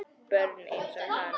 Börn einsog hann.